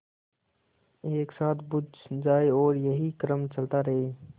एक साथ बुझ जाएँ और यही क्रम चलता रहे